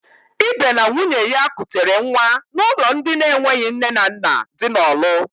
Ibe na nwunye ya kutere nwa n'ụlọ ndị enweghị nne na nna dị na Ọlụ.